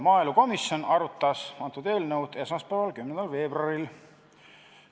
Maaelukomisjon arutas antud eelnõu esmaspäeval, 10. veebruaril.